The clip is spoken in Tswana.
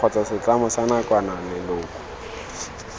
kgotsa setlamo sa nakwana leloko